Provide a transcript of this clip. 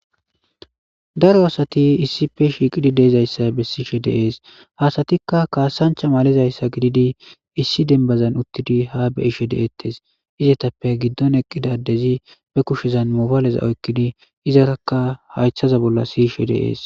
Daro asathi issippe shiiqidi de7izayssa bessishe de7ees; ha asathikka kaasanchcha malizayssa gididi issi denbbazan uththidi ha be7ishe de7eeththes; izethappe giddon eqqida addezi be kushezan mobaaleza oykkidi izarakka hayththaza bolla siyishe de7ees.